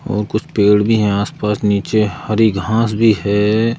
और कुछ पेड़ भी हैं आसपास नीचे हरी घास भी है।